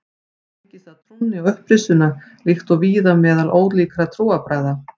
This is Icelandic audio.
Tengist það trúnni á upprisuna líkt og víða meðal ólíkra trúarbragða.